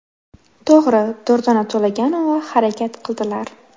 To‘g‘ri, Durdona To‘laganova harakat qildilar.